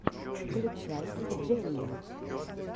включай джелли